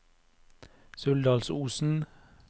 Suldalsosen